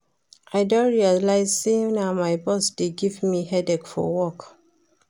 I don realize say na my boss dey give me headache for work